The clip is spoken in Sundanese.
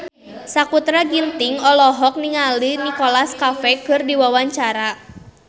Sakutra Ginting olohok ningali Nicholas Cafe keur diwawancara